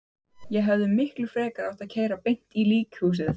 Ég hefði miklu frekar átt að keyra beint í líkhúsið.